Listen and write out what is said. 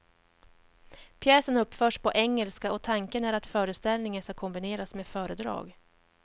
Pjäsen uppförs på engelska och tanken är att föreställningen ska kombineras med föredrag.